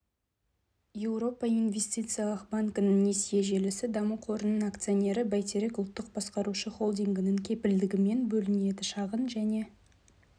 еуропа инвестициялық банкінің несие желісі даму қорының акционері бәйтерек ұлттық басқарушы холдингінің кепілдігімен бөлінеді шағын және